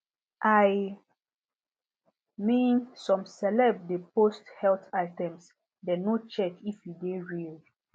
i mean some celeb de post health items dem no check if e de real